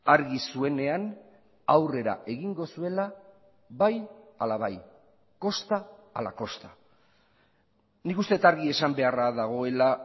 argi zuenean aurrera egingo zuela bai ala bai kosta ala kosta nik uste dut argi esan beharra dagoela